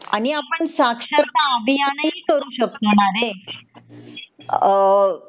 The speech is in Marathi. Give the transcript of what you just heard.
आणि आपण साक्षरता अभियान ही करू शकतो न रे अ